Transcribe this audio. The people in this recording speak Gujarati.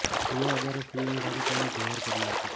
અન્ય હજારો સ્ત્રીઓની સાથે તેણે જૌહર કર્યું હતું